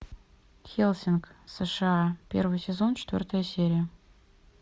хеллсинг сша первый сезон четвертая серия